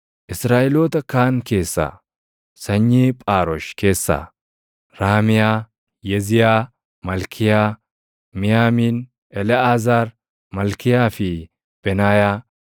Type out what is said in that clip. Israaʼeloota kaan keessaa: Sanyii Phaarosh keessaa: Raamiyaa, Yeziyaa, Malkiyaa, Miyaamiin, Eleʼaazaar, Malkiyaa fi Benaayaa.